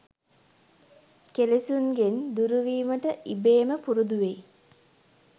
කෙලෙසුන්ගෙන් දුරුවීමට ඉබේම පුරුදු වෙයි.